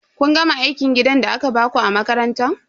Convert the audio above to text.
Kun gama aikin gidan da aka baku a makaranta?